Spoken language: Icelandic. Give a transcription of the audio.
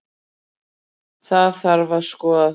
Það þarf að skoða það